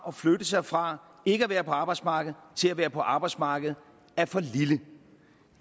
at flytte sig fra ikke at være på arbejdsmarkedet til at være på arbejdsmarkedet er for lille